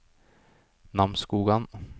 Namsskogan